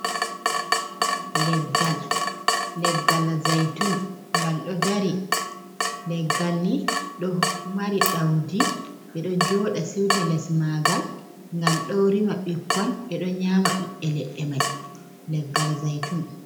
Leggal, leggal zaitun ngal ɗo dari. Leggal ni ɗo mari ɗaudi ɓe ɗo jooɗa siwta les maagal, gal ɗo rima ɓikkon, ɓe ɗo nyaama ɓiɓbe ledde mai, leggal zaitun.